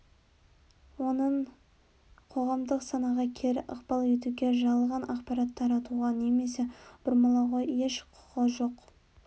оның қоғамдық санаға кері ықпал етуге жалған ақпарат таратуға немесе бұрмалауға еш құқы жоқ